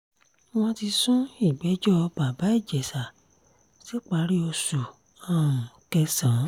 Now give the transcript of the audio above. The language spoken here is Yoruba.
wọ́n ti sún ìgbẹ́jọ́ bàbá ìjẹsà síparí oṣù um kẹsàn